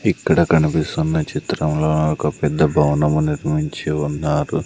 ఇక్కడ కనిపిస్తున్న చిత్రంలో ఒక పెద్ద భవనము నిర్మించి ఉన్నారు.